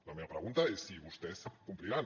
la meva pregunta és si vostès compliran